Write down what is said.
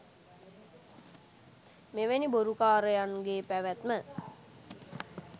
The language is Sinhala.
මෙවැනි බොරුකාරයන් ගේ පැවැත්ම